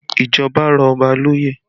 Ìjọba rọ̀ Ọba lóye